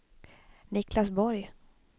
Niclas Borg